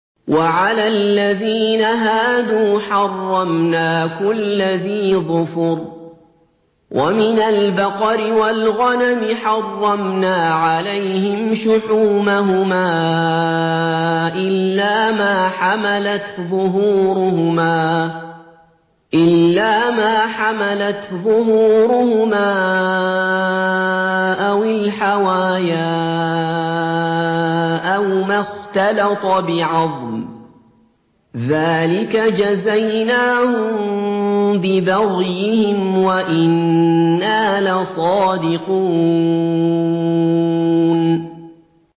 وَعَلَى الَّذِينَ هَادُوا حَرَّمْنَا كُلَّ ذِي ظُفُرٍ ۖ وَمِنَ الْبَقَرِ وَالْغَنَمِ حَرَّمْنَا عَلَيْهِمْ شُحُومَهُمَا إِلَّا مَا حَمَلَتْ ظُهُورُهُمَا أَوِ الْحَوَايَا أَوْ مَا اخْتَلَطَ بِعَظْمٍ ۚ ذَٰلِكَ جَزَيْنَاهُم بِبَغْيِهِمْ ۖ وَإِنَّا لَصَادِقُونَ